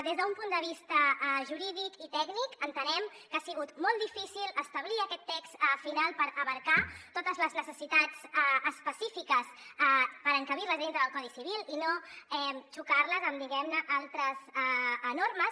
des d’un punt de vista jurídic i tècnic entenem que ha sigut molt difícil establir aquest text final per abastar totes les necessitats específiques per encabir les a dintre del codi civil i no confrontar les amb diguem ne altres enormes